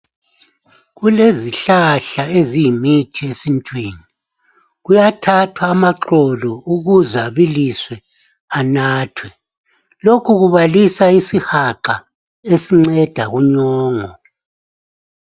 Kulezihlahla eziyimithi esintwini kuyathathwa amaxolo ukuze abiliswe anathwe lokho kubalisa isihaqa esinceda kunyongo.